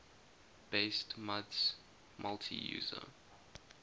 based muds multi user